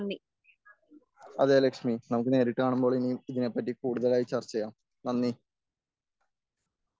അതെ ലക്ഷ്മി നമുക്ക് നേരിട്ട് കാണുമ്പോൾ ഇനിയും ഇതിനെപ്പറ്റി കൂടുതൽ ചർച്ച ചെയ്യാം.നന്ദി.